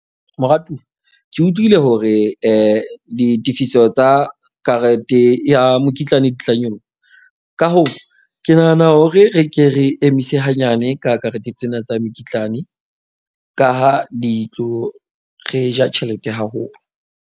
Moratuwa ke utlwile hore ditefiso tsa karete ya mokitlane di tla nyoloha. Ka hoo, ke nahana hore re ke re emise hanyane ka karete tsena tsa mekitlane ka ha di tlo re ja tjhelete haholo.